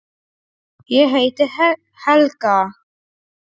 Ég heiti Helga!